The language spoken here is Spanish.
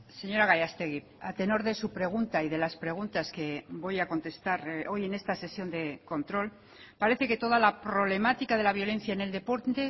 señora gallastegui a tenor de su pregunta y de las preguntas que voy a contestar hoy en esta sesión de control parece que toda la problemática de la violencia en el deporte